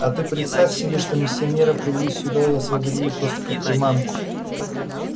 а ты представь себе что миссионера привели сюда и освободили просто как приманку